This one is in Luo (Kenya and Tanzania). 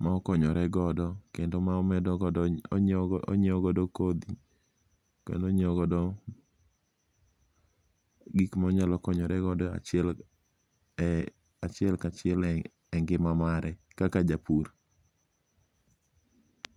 mokonyoregodo kendo onyiewo godo kothi to onyiewo godo gik ma onyalo konyoregodo achiel ka chiel e ngi'ma mare kaka japur.